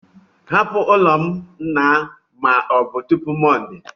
Hapụ n'ụlọ m na ma ọ bụ tupu Monday!